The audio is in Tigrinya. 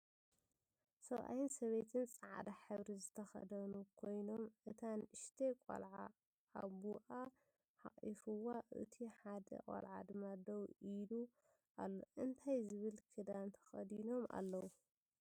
ሰብኣይ ሰበይትን ፃዕዳ ሕብሪ ዝተከደኑ ኮይኖም እታ ንእሽተይ ቆልዓ ኣቡኣ ሓቂፍዋን እቱይ ሓደ ቆልዓ ድማ ደው ኢሊ ኣሎ። እንታይ ዝብሃል ክዳን ተከዲኖም ኣለው?